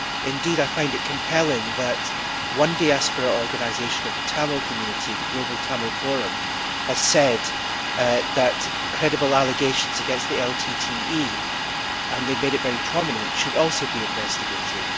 Indeed, I find it compelling that one diaspora organisation of the Tamil community, the Global Tamil Forum, has said that credible allegations against the LTTE and they have made this very prominent should also be investigated.